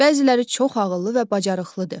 Bəziləri çox ağıllı və bacarıqlıdır.